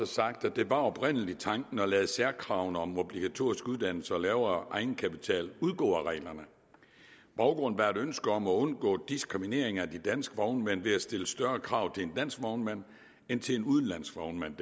sagt at det oprindelig var tanken at lade særkravene om obligatorisk uddannelse og lavere egenkapital udgå af reglerne baggrunden var et ønske om at undgå diskriminering af de danske vognmænd ved at stille større krav til en dansk vognmand end til en udenlandsk vognmand